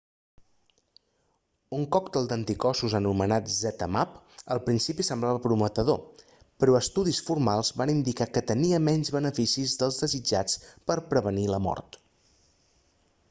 un còctel d'anticossos anomenat zmapp al principi semblava prometedor però estudis formals van indicar que tenia menys beneficis dels desitjats per a prevenir la mort